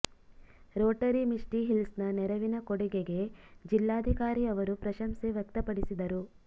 Rotary Misty ಹಿಲ್ಸ್ನ ನೆರವಿನ ಕೊಡುಗೆಗೆ ಜಿಲ್ಲಾಧಿಕಾರಿ ಅವರು ಪ್ರಶಂಸೆ ವ್ಯಕ್ತಪಡಿಸಿದರು